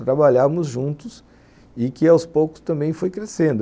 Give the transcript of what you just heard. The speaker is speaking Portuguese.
trabalhávamos juntos e que aos poucos também foi crescendo.